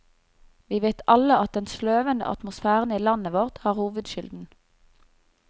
Vi vet alle at den sløvende atmosfæren i landet vårt har hovedskylden.